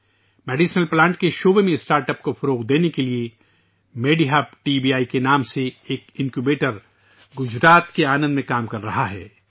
دواؤں کے پودوں کے شعبہ میں اسٹارٹ اپ کو فروغ دینے کے لیے MediHub T B I کے نام سے ایک انکیوبیٹر گجرات کے آنند میں کام کر رہا ہے